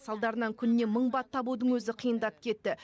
салдарынан күніне мың бат табудың өзі қиындап кетті